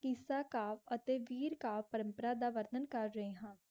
इस तरह का एते बीस तर्क करराइहैं.